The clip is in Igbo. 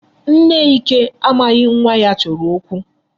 Nne Ike amaghị nwa ya chọrọ okwu.